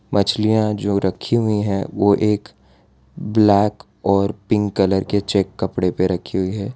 मछलियां जो रखी हुई हैं वो एक ब्लैक और पिंक कलर के चेक कपड़े पे रखी हुई हैं।